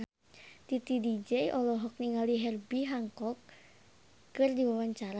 Titi DJ olohok ningali Herbie Hancock keur diwawancara